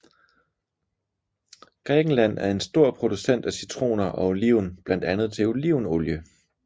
Grækenland er en stor producent af citroner og oliven blandt andet til olivenolie